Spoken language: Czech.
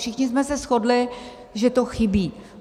Všichni jsme se shodli, že to chybí.